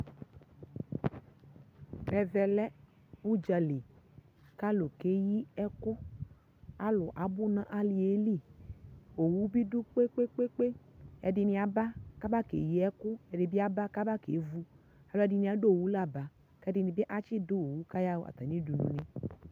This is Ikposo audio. ɛvɛ lɛ ʋdzali kʋ alʋ kɛyi ɛkʋ, alʋ abʋ nʋ aliɛli, ɔwʋ bi dʋ kpekpekpe, ɛdini aba ka aba kɛyi ɛkʋ, ɛdibi aba kɛvʋ, alʋɛdini adʋ ɔwʋ la ba, ɛdinibi atsi dʋ ɔwʋ kʋ atani yaa atami dʋnʋ ni